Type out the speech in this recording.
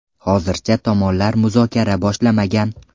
Hozircha tomonlar muzokara boshlamagan.